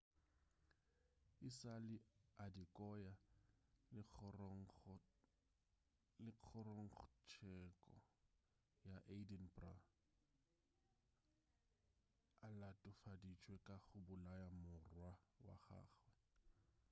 e sa le adekoya a le kgorongtseko ya edinburgh a latofaditšwe ka go bolaya morwa wa gagwe